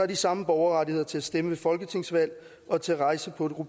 de samme borgerrettigheder til at stemme ved folketingsvalg og til rejse på